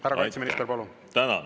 Härra kaitseminister, palun!